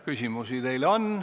Küsimusi teile on.